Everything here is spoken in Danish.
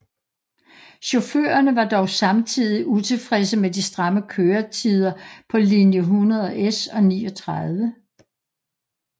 Chaufførerne var dog samtidig utilfredse med de stramme køretider på linje 100S og 39